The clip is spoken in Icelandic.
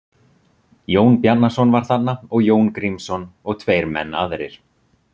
Jón Bjarnason var þarna og Jón Grímsson og tveir menn aðrir.